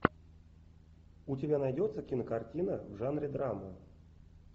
у тебя найдется кинокартина в жанре драма